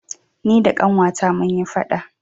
ni da Ƙanwata mun yi faɗa